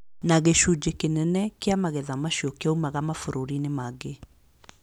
Na gĩcunjĩ kĩnene kĩa magetha macio nĩ kĩoimaga mabũrũri-inĩ mangĩ.